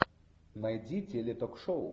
найди теле ток шоу